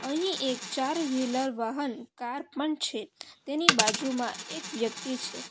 અહીં એક ચાર વ્હીલર વાહન કાર પણ છે તેની બાજુમાં એક વ્યક્તિ છે.